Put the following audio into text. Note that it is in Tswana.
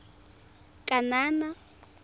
kanana